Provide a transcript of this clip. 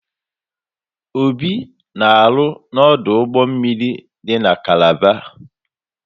Obi na-arụ n'ọdụ ụgbọ mmiri dị na Kalaba.